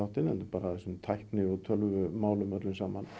heldur bara í þessum tækni og tölvumálum öllum saman